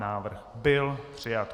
Návrh byl přijat.